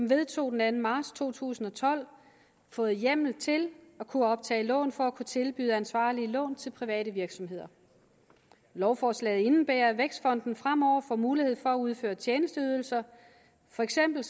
vedtog den anden marts to tusind og tolv fået hjemmel til at kunne optage lån for at kunne tilbyde ansvarlige lån til private virksomheder lovforslaget indebærer at vækstfonden fremover får mulighed for at udføre tjenesteydelser for eksempel